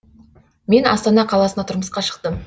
мен астана қаласына тұрмысқа шықтым